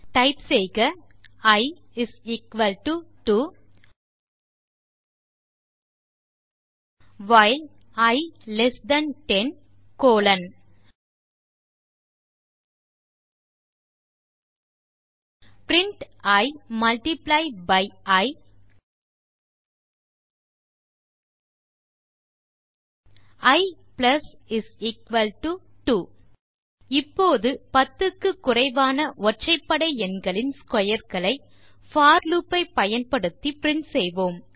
type செய்க i 2 while i less than 10 colon print i multiply by i i 2 இப்போது 10 க்கு குறைவான ஒற்றைபடை எண்களின் ஸ்க்வேர் களை போர் லூப் ஐ பயன்படுத்தி பிரின்ட் செய்வோம்